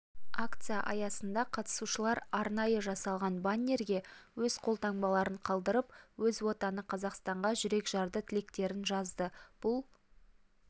акция аясында қатысушылар арнайы жасалған баннерге өз қолтаңбаларын қалдырып өз отаны қазақстанға жүрекжарды тілектерін жазды бұл